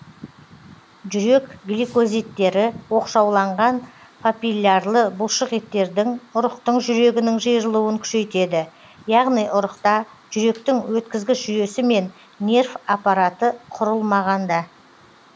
жүрек гликозидтері оқшауланған папиллярлы бұлшықеттердің ұрықтың жүрегінің жиырылуын күшейтеді яғни ұрықта жүректің өткізгіш жүйесі мен нерв аппараты құрылмағанда